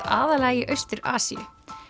aðallega í Austur Asíu